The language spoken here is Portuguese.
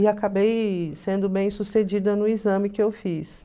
E acabei sendo bem-sucedida no exame que eu fiz.